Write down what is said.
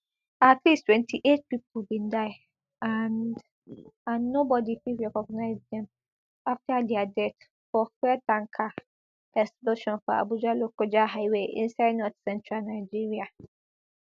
at least twenty-eight pipo bin die and and nobodi fit recognize dem afta dia death for fuel tanker explosion for abujalokoja highway inside northcentral nigeria